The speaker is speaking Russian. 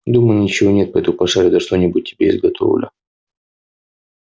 дома ничего нет пойду пошарю да что-нибудь тебе изготовлю